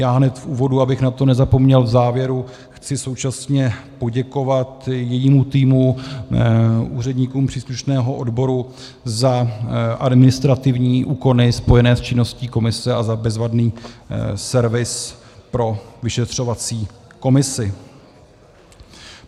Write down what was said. Já hned v úvodu, abych na to nezapomněl v závěru, chci současně poděkovat jejímu týmu, úředníkům příslušného odboru za administrativní úkony spojené s činností komise a za bezvadný servis pro vyšetřovací komisi.